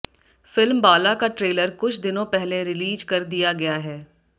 film Bala का trailer कुछ दिनों पहले रिलीज कर दिया गया है